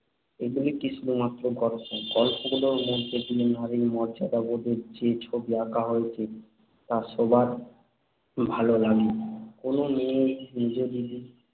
এগুলো কি শুধুমাত্র গল্প গল্পগুলোর মধ্যে দিয়ে নারীর মর্যাদাবোধের যে ছবি আঁকা হয়েছে, তা সবার ই ভাল লাগে। কোন মেয়েই ‘মেজদিদি'